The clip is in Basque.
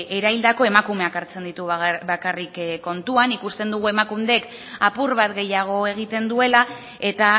eraildako emakumeak hartzen ditu bakarrik kontuan ikusten dugu emakundek apur bat gehiago egiten duela eta